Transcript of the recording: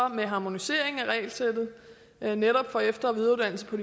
med en harmonisering af regelsættet netop for efter og videreuddannelse på